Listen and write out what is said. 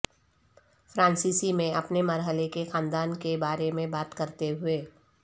فرانسیسی میں اپنے مرحلے کے خاندان کے بارے میں بات کرتے ہوئے